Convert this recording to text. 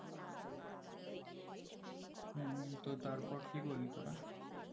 হম তো তারপর কি করলি তোরা